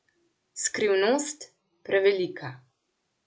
Skrivnost prevelika.